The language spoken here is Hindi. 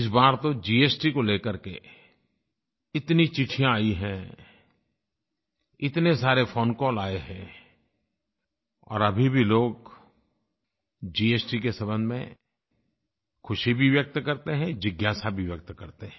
इस बार तो जीएसटी को लेकर के इतनी चिट्ठियाँ आई हैं इतने सारे फोन कॉल आए हैं और अभी भी लोग जीएसटी के संबंध में खुशी भी व्यक्त करते हैं जिज्ञासा भी व्यक्त करते हैं